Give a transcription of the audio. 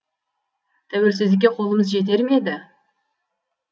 тәуелсіздікке қолымыз жетер ме еді